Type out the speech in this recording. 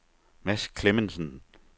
Mads Clemmensen